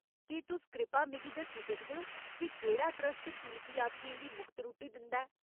केह् तुस कृपा मिगी दस्सी सकदे ओ जे केह्ड़ा ट्रस्ट तीर्थयात्रियें गी मुख्त रुट्टी दिंदा ऐ ?